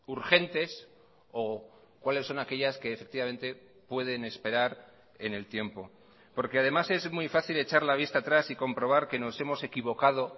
urgentes o cuáles son aquellas que efectivamente pueden esperar en el tiempo porque además es muy fácil echar la vista atrás y comprobar que nos hemos equivocado